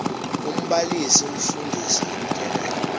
umbalisi umfundisi utyelela